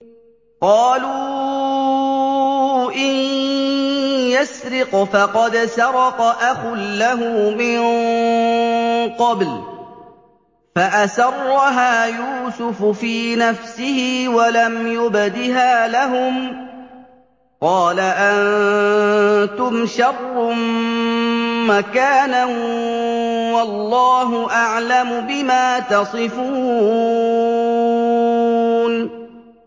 ۞ قَالُوا إِن يَسْرِقْ فَقَدْ سَرَقَ أَخٌ لَّهُ مِن قَبْلُ ۚ فَأَسَرَّهَا يُوسُفُ فِي نَفْسِهِ وَلَمْ يُبْدِهَا لَهُمْ ۚ قَالَ أَنتُمْ شَرٌّ مَّكَانًا ۖ وَاللَّهُ أَعْلَمُ بِمَا تَصِفُونَ